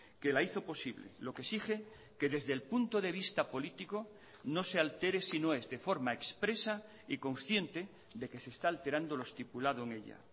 que la hizo posible lo que exige que desde el punto de vista político no se altere si no es de forma expresa y consciente de que se está alterando lo estipulado en ella